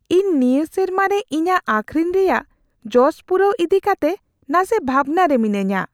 ᱤᱧ ᱱᱤᱭᱟᱹ ᱥᱮᱨᱢᱟ ᱨᱮ ᱤᱧᱟᱹᱜ ᱟᱹᱠᱷᱨᱤᱧ ᱨᱮᱭᱟᱜ ᱡᱚᱥ ᱯᱩᱨᱟᱹᱣ ᱤᱫᱤ ᱠᱟᱛᱮᱜ ᱱᱟᱥᱮ ᱵᱷᱟᱵᱽᱱᱟ ᱨᱮ ᱢᱤᱱᱟᱹᱧᱟ ᱾